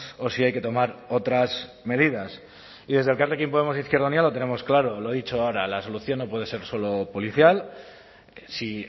o si hay que tomar otras medidas y desde elkarrekin podemos izquierda unida lo tenemos claro lo he dicho ahora la solución no puede ser solo policial si